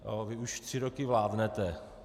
Vy už tři roky vládnete.